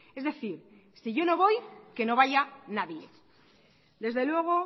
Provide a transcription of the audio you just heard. es decir si yo no voy que no vaya nadie desde luego